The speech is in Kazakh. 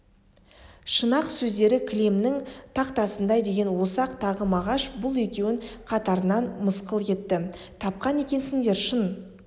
шын-ақ сөздері кілемнің тақтасындай деген осы-ақ тағы мағаш бұл екеуін қатарынан мысқыл етті тапқан екенсіңдер шын